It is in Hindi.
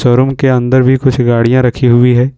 शोरुम के अंदर भी कुछ गाड़ियां रखी हुई है।